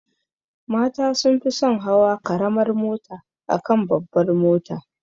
Mata sun fi son hawa karamar mota akan babbar mota.